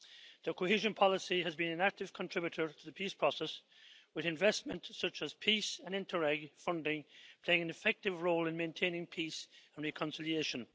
The cohesion policy has been an active contributor to the peace process with investment such as PEACE and INTERREG funding playing an effective role in maintaining peace and reconciliation.